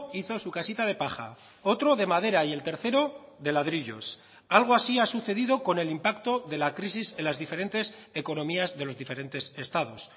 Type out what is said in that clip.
hizo su casita de paja otro de madera y el tercero de ladrillos algo así ha sucedido con el impacto de la crisis en las diferentes economías de los diferentes estados